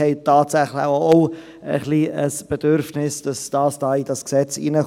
Diese haben tatsächlich auch ein wenig ein Bedürfnis, dass das ins Gesetz kommt.